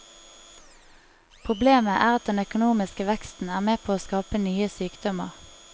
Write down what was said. Problemet er at den økonomiske veksten er med på å skape nye sykdommer.